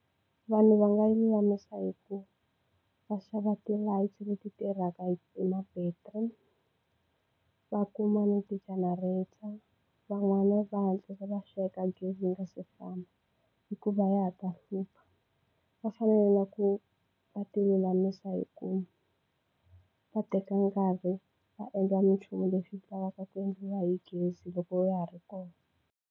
Vanhu va nga yi lulamisa hi ku va xava ti-lights leti tirhaka hi ma-battery va kuma na ti-generator van'wana va hatlisa va sweka gezi yi nga si famba hikuva ya ta hlupha va fanele ku va tilulamisa hi ku va teka nkarhi va endla minchumu leswi lavaka ku endliwa hi gezi loko ya ha ri kona.